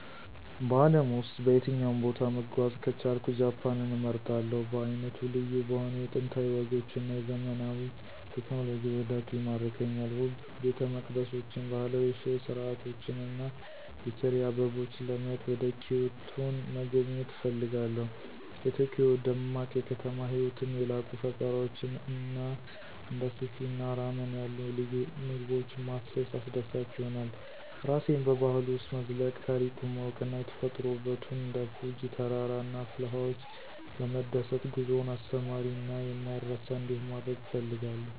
በአለም ውስጥ በየትኛውም ቦታ መጓዝ ከቻልኩ ጃፓንን እመርጣለሁ. በዓይነቱ ልዩ በሆነው የጥንታዊ ወጎች እና የዘመናዊ ቴክኖሎጂ ውህደቱ ይማርከኛል። ውብ ቤተመቅደሶችን፣ ባህላዊ የሻይ ሥርዓቶችን እና የቼሪ አበቦችን ለማየት ወደ ኪዮቶን መጎብኘት እፈልጋለሁ። የቶኪዮ ደማቅ የከተማ ህይወትን፣ የላቁ ፈጠራዎችን እና እንደ ሱሺ እና ራመን ያሉ ልዩ ምግቦችን ማሰስ አስደሳች ይሆናል። ራሴን በባህሉ ውስጥ መዝለቅ፣ ታሪኩን ማወቅ እና የተፈጥሮ ውበቱን እንደ ፉጂ ተራራ እና ፍልውሃዎች በመደሰት ጉዞውን አስተማሪ እና የማይረሳ እንዲሆን ማድረግ እፈልጋለሁ።